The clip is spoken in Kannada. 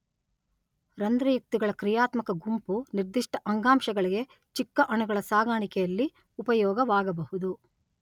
ರಂದ್ರಯುಕ್ತಿಗಳ ಕ್ರಿಯಾತ್ಮಕ ಗುಂಪು ನಿರ್ದಿಷ್ಟ ಅಂಗಾಂಶಗಳಿಗೆ ಚಿಕ್ಕ ಅಣುಗಳ ಸಾಗಾಣಿಕೆಯಲ್ಲಿ ಉಪಯೋಗವಾಗಬಹುದು.